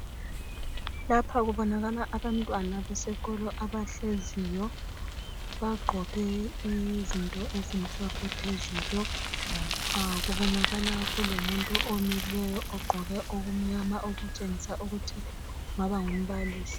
Lapha kubonakala abantwana besikolo abahleziyo bagqoke izinto ezimhlophe phezulu. Kulomileyo ogqoke okumnyama okungaba ngumbalisi.